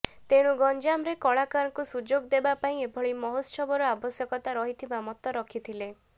ତେଣୁ ଗଞ୍ଜାମ ରେ କଳାକାରଙ୍କୁ ସୁଯୋଗ ଦେବା ପାଇଁ ଏଭଳି ମହୋତ୍ସବ ର ଆବଶ୍ୟକତା ରହିଥିବା ମତ ରଖିଥିଲେ